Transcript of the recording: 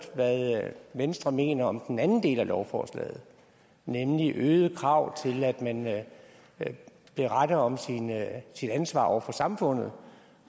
hvad venstre mener om den anden del af lovforslaget nemlig øgede krav til at man beretter om sit ansvar over for samfundet